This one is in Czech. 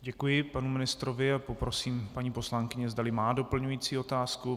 Děkuji panu ministrovi a poprosím paní poslankyni, zdali má doplňující otázku.